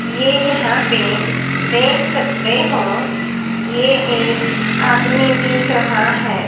ये यहां पे देख सकते हो ये एक आदमी दिख रहा है।